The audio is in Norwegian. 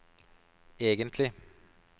egentlig